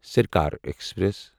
Sarkar express